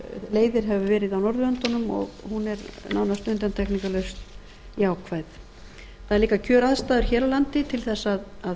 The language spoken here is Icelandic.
leiðir hefur verið á norðurlöndunum og hún er nánast undantekningarlaust jákvæð það eru líka kjöraðstæður hér á landi til þess að